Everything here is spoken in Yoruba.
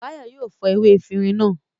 Báyọ̀ yóò fọ ewé efirin náà.